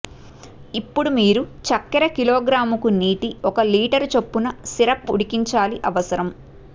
ఇప్పుడు మీరు చక్కెర కిలోగ్రాముకు నీటి ఒక లీటరు చొప్పున సిరప్ ఉడికించాలి అవసరం